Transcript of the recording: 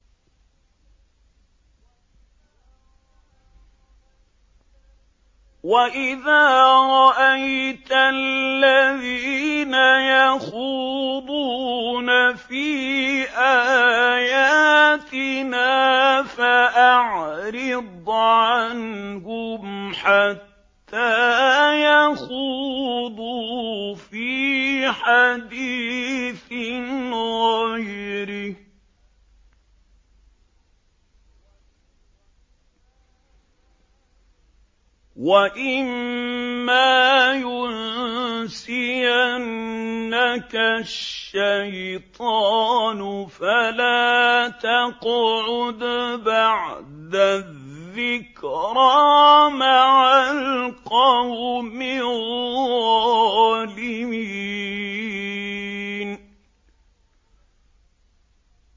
وَإِذَا رَأَيْتَ الَّذِينَ يَخُوضُونَ فِي آيَاتِنَا فَأَعْرِضْ عَنْهُمْ حَتَّىٰ يَخُوضُوا فِي حَدِيثٍ غَيْرِهِ ۚ وَإِمَّا يُنسِيَنَّكَ الشَّيْطَانُ فَلَا تَقْعُدْ بَعْدَ الذِّكْرَىٰ مَعَ الْقَوْمِ الظَّالِمِينَ